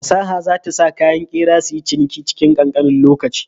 Fasaha za ta sa kayan ƙera suyi ciniki cikin ƙanƙanin lokaci.